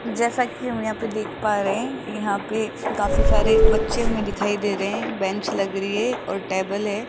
जैसा की हम देख पा रहे है यहां पे काफी सारे बच्चे हमे दिखाई दे रहे है बेंच लग रही है और टेबल है।